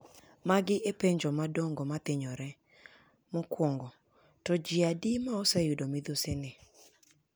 Magi epenjo madongo mathinyore: 1. To ji adi ma ose yudo midhusini?